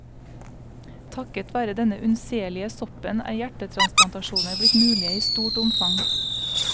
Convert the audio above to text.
Takket være denne unnselige soppen er hjertetransplantasjoner blitt mulige i stort omfang.